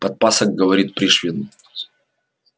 подпасок говорит пришвину